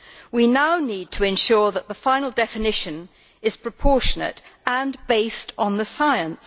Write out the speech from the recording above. We now need to ensure that the final definition is proportionate and based on the science.